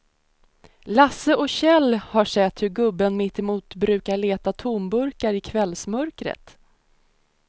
Lasse och Kjell har sett hur gubben mittemot brukar leta tomburkar i kvällsmörkret.